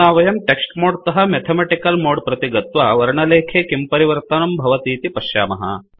अधुना वयं text mode तः मेथामॆटिकल् मोड् प्रति गत्वा वर्णलेखे किं परिवर्तनं भवतीति पश्यामः